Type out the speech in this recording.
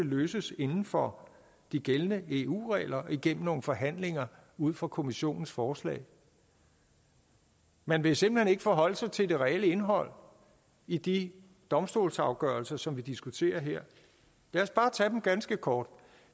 løses inden for de gældende eu regler gennem nogle forhandlinger ud fra kommissionens forslag man vil simpelt hen ikke forholde sig til det reelle indhold i de domstolsafgørelser som vi diskuterer her lad os bare tage dem ganske kort